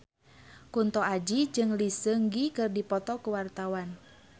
Kunto Aji jeung Lee Seung Gi keur dipoto ku wartawan